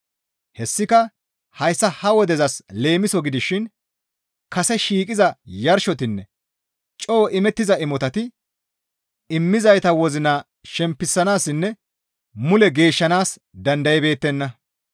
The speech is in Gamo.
Hessika hayssa ha wodezas leemiso gidishin kase shiiqiza yarshotinne coo imettiza imotati immizayta wozina shempisanaassinne mule geeshshanaas dandaybeettenna.